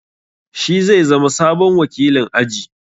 Shi zai zama sabon wakilin aji.